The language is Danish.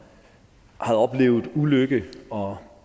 havde oplevet ulykke og